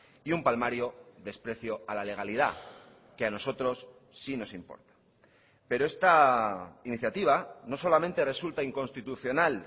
y un palmario desprecio a la legalidad que a nosotros sí nos importa pero esta iniciativa no solamente resulta inconstitucional